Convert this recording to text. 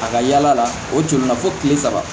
A ka yala la o tununna fo kile saba